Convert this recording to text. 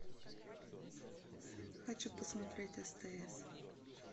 хочу посмотреть стс